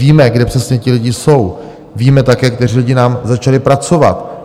Víme, kde přesně ti lidi jsou, víme také, kteří lidi nám začali pracovat.